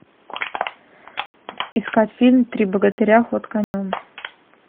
искать фильм три богатыря ход конем